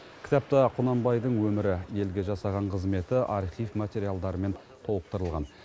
кітапта құнанбайдың өмірі елге жасаған қызметі архив материалдарымен толықтырылған